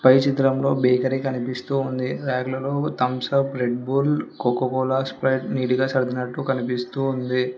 పై చిత్రంలో బేకరీ కనిపిస్తూ ఉంది ర్యాక్ లలో Thums Up blood bull Coca Cola Sprite నీటిగా సర్ధినట్టు కనిపిస్తూ ఉంది.